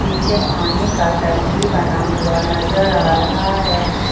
पीछे पानी का टंकी बना हुआ नजर आ रहा है।